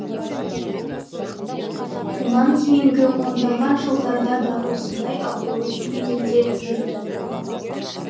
мұнан кейінгі ондаған жылдарда да осындай абырой биігінде жүрді